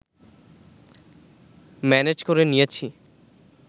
manage করে নিয়েছি